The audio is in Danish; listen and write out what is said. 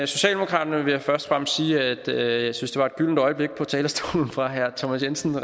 socialdemokraterne vil jeg først og fremmest sige at jeg synes det var et gyldent øjeblik på talerstolen fra herre thomas jensens